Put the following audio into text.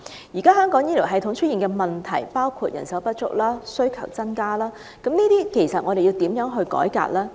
現時香港醫療系統出現包括人手不足及需求增加的問題，我們該如何作出改革呢？